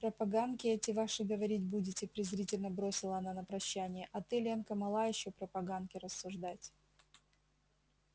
про поганки эти ваши говорить будете презрительно бросила она на прощание а ты ленка мала ещё про поганки рассуждать